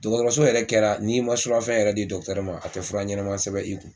Dɔgɔtɔrɔso yɛrɛ kɛra n'i ma surafɛn yɛrɛ di dɔkutɛri ma a tɛ fura ɲɛnama sɛbɛn i kun.